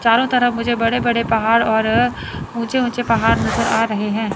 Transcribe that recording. चारों तरफ मुझे बड़े बड़े पहाड़ और ऊंचे ऊंचे पहाड़ नजर आ रहे हैं।